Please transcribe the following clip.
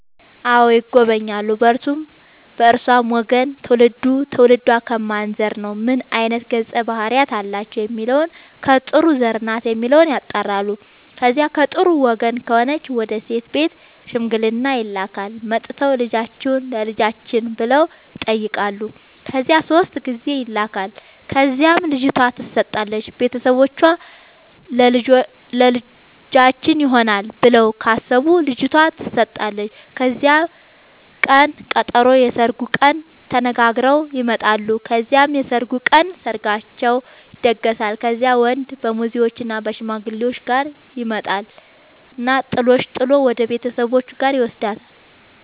አዎ ይጎበኛሉ በእርሱም በእርሷም ወገን ትውልዱ ትውልዷ ከማን ዘር ነው ምን አይነት ገፀ ባህርያት አላቸው የሚለውን ከጥሩ ዘር ናት የሚለውን ያጣራሉ። ከዚያ ከጥሩ ወገን ከሆነች ወደ ሴት ቤት ሽምግልና ይላካል። መጥተው ልጃችሁን ለልጃችን ብለው ይጠያቃሉ ከዚያ ሶስት ጊዜ ይላካል ከዚያም ልጅቷ ትሰጣለች ቤተሰቦቿ ለልጃችን ይሆናል ብለው ካሰቡ ልጇቷ ተሰጣለች ከዚያም ቅን ቀጠሮ የስርጉን ቀን ተነጋግረው ይመጣሉ ከዚያም የሰርጉ ቀን ሰርጋቸው ይደገሳል። ከዚያም ወንድ ከሙዜዎችእና ከሽማግሌዎቹ ጋር ይመጣና ጥሎሽ ጥል ወደሱ ቤተሰቦች ጋር ይውስዳታል።